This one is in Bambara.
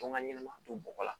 Tɔn ŋa ɲɛnɛma to bɔgɔ la